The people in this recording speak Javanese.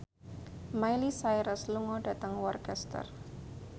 Miley Cyrus lunga dhateng Worcester